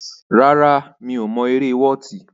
Rárá, mi ò mọ eré wọ́ọ̀tì.